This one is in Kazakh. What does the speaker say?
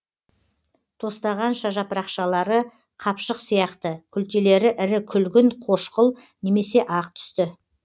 тостағанша жапырақшалары қапшық сияқты күлтелері ірі күлгін қошқыл немесе ақ түсті